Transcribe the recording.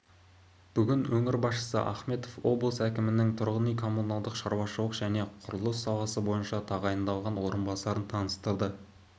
бүгін өңір басшысы ахметов облыс әкімінің тұрғын үй-коммуналдық шаруашылық және құрылыс саласы бойынша тағайындалған орынбасарын таныстырды